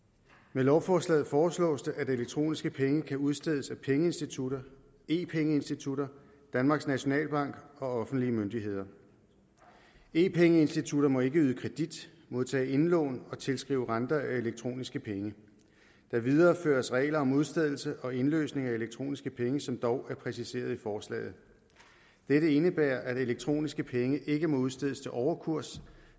med lovforslaget foreslås det at elektroniske penge kan udstedes af pengeinstitutter e penge institutter danmarks nationalbank og offentlige myndigheder e penge institutter må ikke yde kredit modtage indlån eller tilskrive renter af elektroniske penge der videreføres regler om udstedelse og indløsning af elektroniske penge som dog er præciseret i forslaget dette indebærer at elektroniske penge ikke må udstedes til overkurs